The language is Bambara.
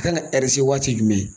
A kan ka waati jumɛn?